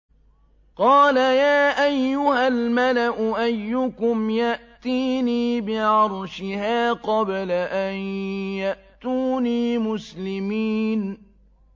قَالَ يَا أَيُّهَا الْمَلَأُ أَيُّكُمْ يَأْتِينِي بِعَرْشِهَا قَبْلَ أَن يَأْتُونِي مُسْلِمِينَ